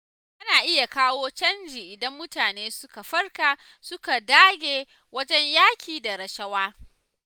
Ana iya kawo canji idan mutane suka farka suka dage wajen yaƙi da rashawa.